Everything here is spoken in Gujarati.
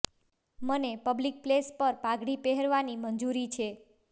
મને પબ્લિક પ્લેસ પર પાઘડી પહેરવાની મંજુરી છે